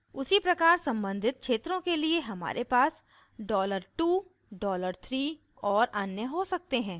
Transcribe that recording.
उसी प्रकार सम्बंधित क्षेत्रों के लिए हमारे पास $2 $3 और अन्य हो सकते हैं